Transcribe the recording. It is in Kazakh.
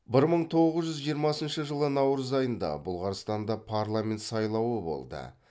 бір мың тоғыз жүз жиырмасыншы жылы наурыз айында бұлғарстанда парламент сайлауы болды